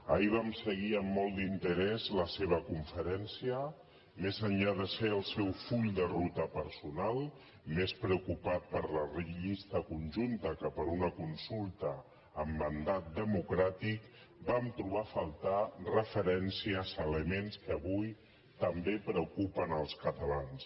ahir vam seguir amb molt interès la seva conferència més enllà de ser el seu full de ruta personal més preocupat per la llista conjunta que per una consulta amb mandat democràtic vam trobar a faltar referències elements que avui també preocupen els catalans